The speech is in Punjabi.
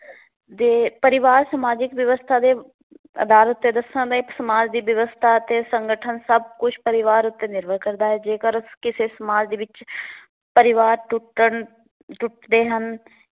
ਪਰਿਵਾਰ ਸਮਾਜਿਕ ਵਿਵਸਥਾਂ ਦੇ ਸਮਾਜ ਦੀ ਵਿਵਸਥਾ ਅਤੇ ਸੰਗਠਨ ਸਭ ਕੁਛ ਪਰਿਵਾਰ ਉੱਤੇ ਨਿਰਭਰ ਕਰਦਾ ਹੈ। ਜੇਕਰ ਉਸ ਕਿਸੇ ਸਮਾਜ ਵਿੱਚ ਪਰਿਵਾਰ ਟੁੱਟਣ ਟੁੱਟਦੇ ਹਨ